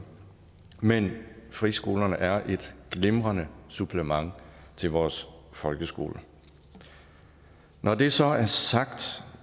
men friskolerne er et glimrende supplement til vores folkeskole når det så er sagt